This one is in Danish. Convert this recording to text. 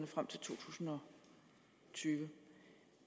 frem til to tusind og tyve